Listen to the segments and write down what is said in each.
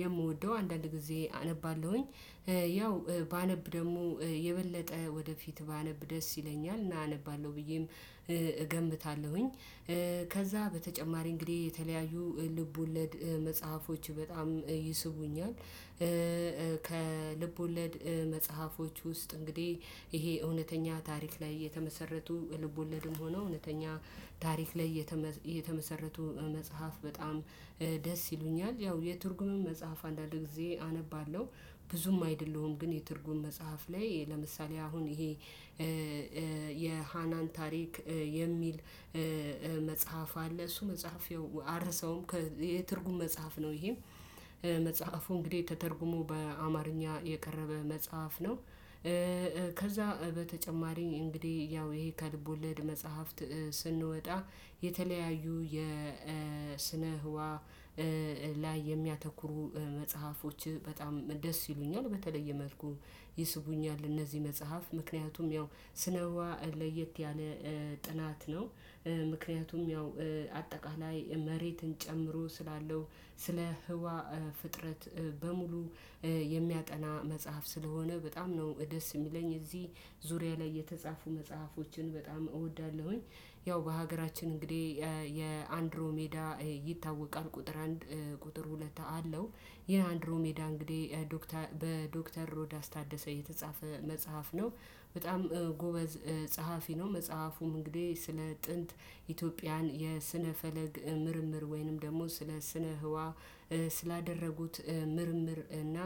የምወደው አንዳንድ ጊዜ አነባለሁኝ። ያው ባነብ ደግሞ የበለጠ ወደፊት ባነብ ደስ ይለኛል እና አነባለሁ ብዬም እገምታለሁኝ። ከዛ በተጨማሪ እንግዲህ የተለያዩ ልቦለድ መጽሐፎች በጣም ይስቡኛል። ከልብ ወለድ መጽሐፎች ውስጥ እንግዲህ ይሄ እውነተኛ ታሪክ ላይ የተመሰረቱ ልቦለድም ሆኖ እውነተኛ ታሪክ ላይ የተመሰረቱ መጽሐፍ በጣም ደስ ይሉኛል። ያው የትርጉምም መጽሐፍ አንዳንድ ጊዜ አነባለሁ። ብዙም አይደለሁም ግን የትርጉም መጽሐፍ ላይ ለምሳሌ አሁን ይሄ የሃናን ታሪክ የሚል መፀሀፍ አለ። እሱ መጽሐፍ አረሳውም የትርጉም መጽሐፍ ነው። ይሄም መጽሐፉ እንግዲህ ተተርጉሞ በአማርኛ የቀረበ መጽሐፍ ነው። ከዛ በተጨማሪኝ እንግዲህ ያው ይሄ ከልቦለድ መጽሐፍት ስንወጣ የተለያዩ የስነ ህዋ ላይ የሚያተኩሩ መጽሐፎች በጣም ደስ ይሉኛል። በተለየ መልኩ ይስቡኛል እነዚህ መጽሐፍ ምክንያቱም ያው ስነህዋ ለየት ያለ ጥናት ነው። ምክንያቱም ያው አጠቃላይ መሬትን ጨምሮ ስላለው ስለ ህዋ ፍጥረት በሙሉ የሚያጠና መጽሐፍ ስለሆነ በጣም ነው ደስ የሚለኝ። እዚህ ዙሪያ ላይ የተጻፉ መጽሐፎችን በጣም እወዳለሁኝ። ያው በሀገራችን እንግዲህ የአንድሮሜዳ ይታወቃል ቁጥር አንድ ቁጥር ሁለት አለው። ይሄ አንድሮሜዳ እንግዲህ ዶክተር በዶክተር ሮዳስ ታደሰ የተጻፈ መጽሐፍ ነው። በጣም ጎበዝ ጸሐፊ ነው። መጽሐፉም እንግዲህ ስለ ጥንት ኢትዮጵያን የስነ ፈለግ ምርምር ወይንም ደግሞ ስለ ስነ ህዋ ስላደረጉት ምርምር እና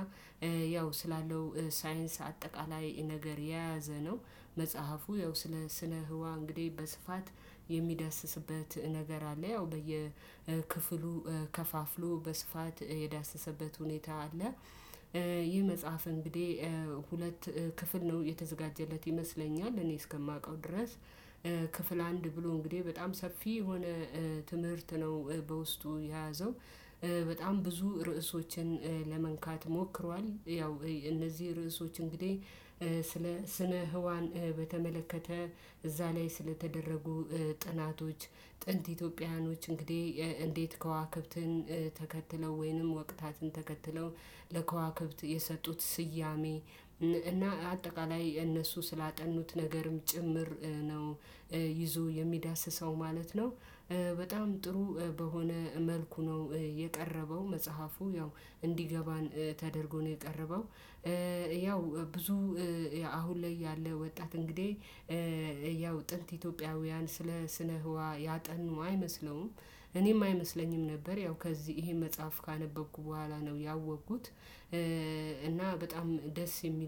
ያው ስላለው ሳይንስ አጠቃላይ ነገር የያዘ ነው። መጽሐፉ ያው ስለ ስነ ህዋ እንግዲህ በስፋት የሚዳስስበት ነገር አለ ያው በየክፍሉ ከፋፍሎ በስፋት የዳሰሰበት ሁኔታ አለ። ይህ መጽሐፍ እንግዲህ ሁለት ክፍል ነው የተዘጋጀለት ይመስለኛል እኔ እስከማውቀው ድረስ። ክፍል አንድ ብሎ እንግዲህ በጣም ሰፊ የሆነ ትምህርት ነው። በውስጡ የያዘው በጣም ብዙ ርዕሶችን ለመንካት ሞክሯል። ያው እነዚህ ርዕሶች እንግዲህ ስለ ስነ ህዋን በተመለከተ እዛ ላይ ስለተደረጉ ጥናቶች። ጥንት ኢትዮጵያውያኖች እንግዲህ እንዴት ከዋክብትን ተከትለው ወይንም ወቅታትን ተከትለው ለከዋክብት የሰጡት ስያሜ እና አጠቃላይ እነሱ ስላጠኑት ነገርም ጭምር ነው ይዞ የሚዳስሰው ማለት ነው። በጣም ጥሩ በሆነ መልኩ ነው የቀረበው መጽሐፉ ያው እንዲገባን ተደርጎ ነው የቀረበው። ያው ብዙ አሁን ላይ ያለ ወጣት እንግዲህ ያው ጥንት ኢትዮጵያውያን ስለ ስነ ህዋ ያጠኑ አይመስለውም። እኔም አይመስለኝም ነበር ያው ከዚህ ይሄን መጽሐፍ ካነበብኩ በኋላ ነው ያወቅኩት እና በጣም ደስ የሚል